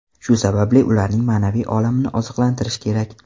Shu sababli, ularning ma’naviy olamini oziqlantirish kerak.